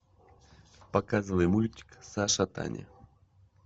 показывай мультик саша таня